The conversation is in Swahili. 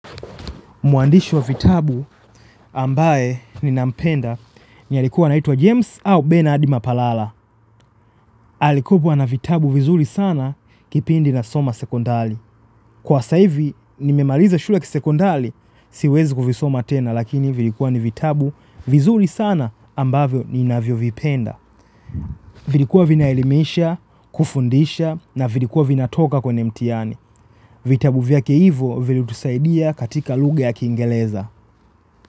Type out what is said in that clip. Muandishi wa vitabu ambaye ninampenda ni alikuwa naitwa James au Ben Adima Palala. Alikuwa na vitabu vizuri sana kipindi na soma sekundali. Kwa sasa hivi nimemaliza shule kisekundari siwezi kuvisoma tena lakini vilikuwa ni vitabu vizuri sana ambavyo niinavyo vipenda. Vilikuwa vinaelimesha, kufundisha na vilikuwa vinatoka kwenye mtiani. Vitabu vya keivo vilitusaidia katika lugha ya kingereza.